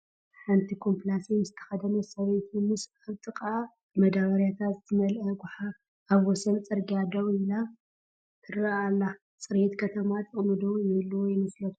ሓንቲ ኮምኘላስየን ዝተኸደነት ሰበይቲ ምስ ኣብ ጥቓኣ ብመዳበርያታት ዝመልአ ጎሓፍ ኣብ ወሰን ፅርግያ ደው ኢላ ትረአ ኣላ፡፡ ፅሬት ከተማ ጥቕሚ ዶ ይህልዎ ይመስለኩም?